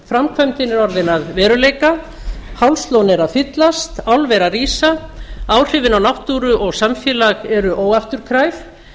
er orðin að veruleika hálslón er að fyllast álver að rísa áhrifin á náttúru og samfélag eru óafturkræf